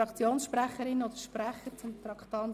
Wünschen Fraktionssprecher oder -sprecherinnen das Wort?